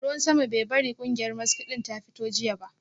Ruwan sama bai bari kungiyar maski din ta fito jiya ba